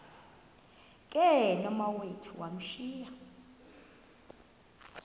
ke nomawethu wamthiya